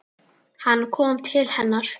Hann kom til hennar.